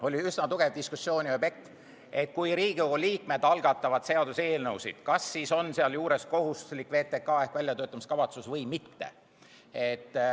Oli üsna tugev diskussioon selle üle, et kui Riigikogu liikmed algatavad seaduseelnõusid, siis kas nende kohta on kohustuslik koostada ka VTK ehk väljatöötamiskavatsus või mitte.